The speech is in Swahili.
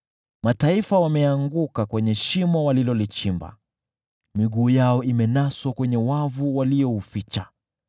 Mataifa wameanguka kwenye shimo walilolichimba, miguu yao imenaswa kwenye wavu waliouficha.